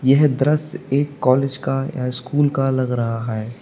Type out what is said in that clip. यह दृश्य एक कॉलेज का या स्कूल का लग रहा है।